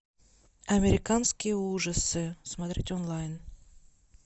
американские ужасы смотреть онлайн